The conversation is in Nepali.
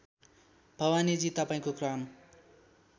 भवानीजी तपाईँको काम